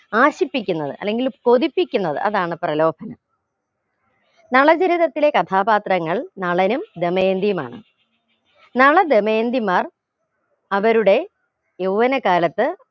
ആകാശിപ്പിക്കുന്നത് അല്ലെങ്കിൽ കൊതിപ്പിക്കുന്നത് അതാണ് പ്രലോഭനം നളചരിതത്തിലെ കഥാപാത്രങ്ങൾ നളനും ദമയന്തിയുമാണ് നള ദമയന്തിമാർ അവരുടെ യൗവന കാലത്ത്